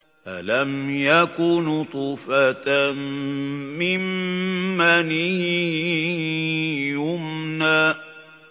أَلَمْ يَكُ نُطْفَةً مِّن مَّنِيٍّ يُمْنَىٰ